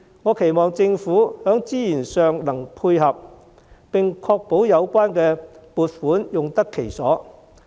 我期望政府在資源上能配合，並確保有關撥款用得其所。